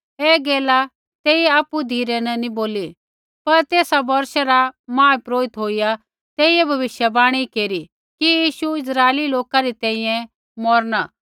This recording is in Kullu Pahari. ऐ गैला तेइयै आपु धिरै न नैंई बोली यीशु आपणै मौरनै रै बारै न कई बार बोला ती पर तेसा बोर्षा रा महापुरोहित होईया तेइयै भविष्यवाणी केरी कि यीशु इस्राइली लोका री तैंईंयैं मौरणा